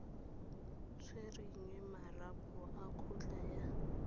tshwereng marapo a kgotla ya